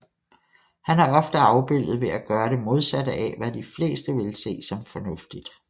Han er ofte afbildet ved at gøre det modsatte af hvad de fleste ville se som fornuftigt